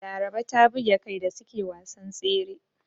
Laraba ta buge kai da suke wasan tsere.